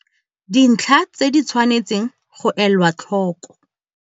Dintlha tse di tshwanetsweng go elwa tlhoko.